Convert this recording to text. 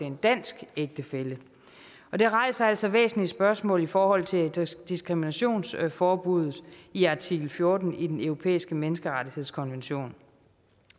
en dansk ægtefælle og det rejser altså væsentlige spørgsmål i forhold til diskriminationsforbuddet i artikel fjorten i den europæiske menneskerettighedskonvention